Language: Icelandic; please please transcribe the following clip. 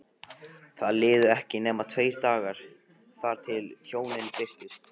Það liðu ekki nema tveir dagar þar til hjónin birtust.